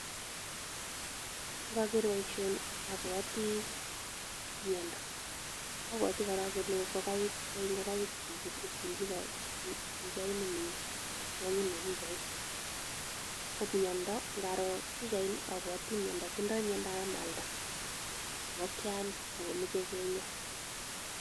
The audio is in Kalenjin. Ngoger boisioni abwoti miondo. Abwoti korok kole ngogaik, boe ngogaik chichi bo pichaini mi yu, chonyi mi pichait. Ko miondo, ngaro pichaini abwoti miendo, tindoi miendoab amalda ngokiani akomeche kinya.